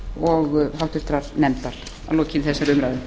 og háttvirtur nefndar að lokinni þessari umræðu